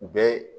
U bɛ